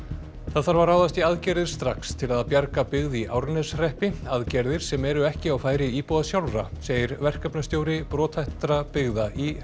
það þarf að ráðast í aðgerðir strax til að bjarga byggð í Árneshreppi aðgerðir sem eru ekki á færi íbúa sjálfra segir verkefnastjóri brothættra byggða í